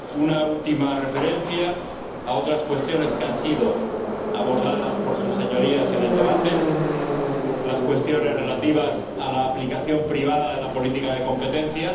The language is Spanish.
Una última referencia a otras cuestiones que han sido abordadas por sus Señorías en el debate las cuestiones, extraordinariamente importantes, relativas a la aplicación privada de la política de competencia.